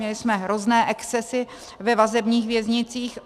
Měli jsme hrozné excesy ve vazebních věznicích.